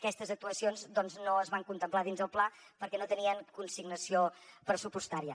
aquestes actuacions doncs no es van contemplar dins del pla perquè no tenien consignació pressupostària